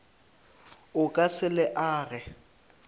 o ka se le age